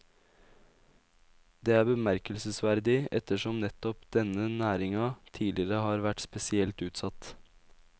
Det er bemerkelsesverdig ettersom nettopp denne næringa tidligere har vært spesielt utsatt.